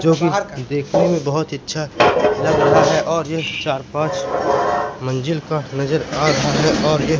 जो देखने में बहोत ही अच्छा लग रहा है और यह चार पांच मंजिल का नजर आ रहा है और यह--